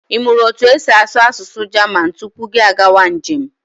I mụrụ otu esi asụ asụsụ Jaman tupu gị agawa njem?